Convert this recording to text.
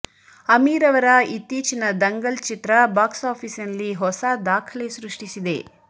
ಅಮೀರ್ ಅವರ ಇತ್ತೀಚಿನ ದಂಗಲ್ ಚಿತ್ರ ಬಾಕ್ಸ್ ಆಫೀಸಿನಲ್ಲಿ ಹೊಸ ದಾಖಲೆ ಸೃಷ್ಟಿಸಿದೆ